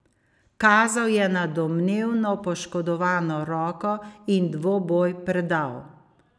Kazal je na domnevno poškodovano roko in dvoboj predal.